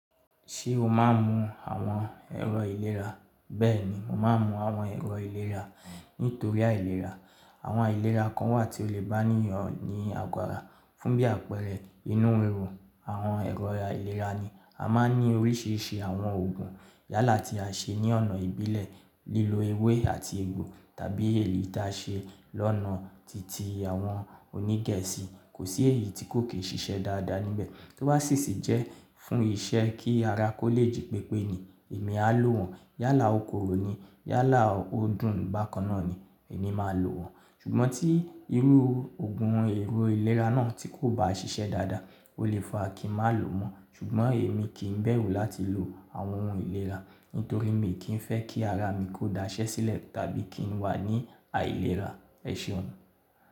Ṣé o máa ń mu àwọn ẹ̀rọ ìlera? Bẹ́ẹ̀ni, mo máa ń mu àwọn ẹ̀rọ ìlera nítorí àìlera. Àwọn àìlera kan wà tí ó lè bá ènìyàn ní àgọ́ ara. Fún bí àpẹẹrẹ inú riro, àwọn ẹ̀rọ ìlera yi a máa ń ní oríṣiríṣi àwọn ògùn. Yálà tí a ṣe ní ọ̀nà ìbílẹ̀ lílo ewé àti egbò tàbí èyí tí a ṣe lọ́nà titi àwọn onígẹ̀ẹ́sì, kò sí èyí tí kò kì í ṣiṣẹ́ dáadáa níbẹ̀. Tí ó bá sì sì jẹ́ fún iṣẹ́ kí ara kó lè jí pépé ni èmi á lò wọ́n. Yálà okoòro ni, yálà odún bákan ná ni emi máa lò wọ́n. Ṣùgbọ́n tí irú ògùn èrò ìlera náà tí kò bá ṣiṣẹ́ dáadáa, ó lè fa kí n má lò mọ́. Ṣùgbọ́n èmi kì í bẹ̀rù láti lo àwọn ohun ìlera, nítorí mi kì í fẹ́ kí ara mi kó daṣẹ́ sílẹ̀ tàbí kí n wà ní àìlera. Ẹ ṣeun.